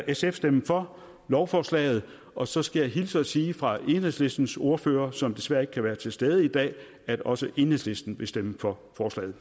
sf stemme for lovforslaget og så skal jeg hilse og sige fra enhedslistens ordfører som desværre ikke kan være til stede i dag at også enhedslisten vil stemme for